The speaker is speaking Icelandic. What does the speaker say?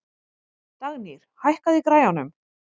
Dagnýr, hækkaðu í græjunum.